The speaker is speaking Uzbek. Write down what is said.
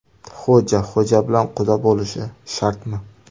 Xo‘ja xo‘ja bilan quda bo‘lishi shartmi?.